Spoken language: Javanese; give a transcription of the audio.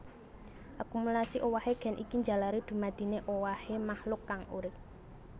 Akumulasi owahé gen iki njalari dumadine owahé makhluk kang urip